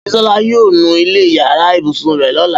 Bísọ́lá yóò nu ilẹ̀ yàrá ibùsùn rẹ̀ lọ́la